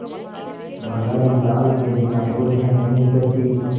बघारी दाल के बिना रोटियाँ नहीं उतरतीं